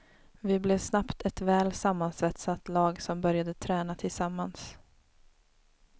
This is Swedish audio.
Vi blev snabbt ett väl sammansvetsat lag som började träna tillsammans.